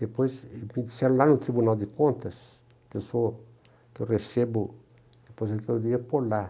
Depois, me disseram lá no Tribunal de Contas, que eu sou recebo aposentadoria por lá.